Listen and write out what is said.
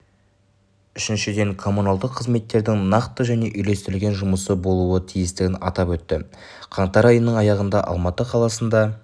үшіншіден коммуналдық қызметтердің нақты және үйлестірілген жұмысы болуы тиістігін атап өтті қаңтар айының аяғында алматы қаласында